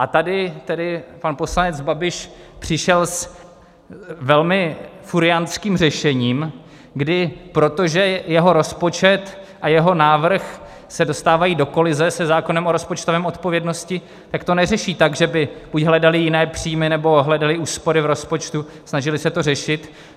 A tady tedy pan poslanec Babiš přišel s velmi furiantským řešením, kdy, protože jeho rozpočet a jeho návrh se dostávají do kolize se zákonem o rozpočtové odpovědnosti, tak to neřeší tak, že by buď hledali jiné příjmy, nebo hledali úspory v rozpočtu, snažili se to řešit.